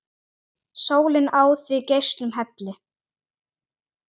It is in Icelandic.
Sólin á þig geislum helli!